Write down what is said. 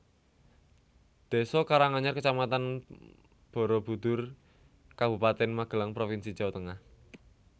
Désa Karanganyar Kecamatan Barabudhur Kabupaten Magelang provinsi Jawa Tengah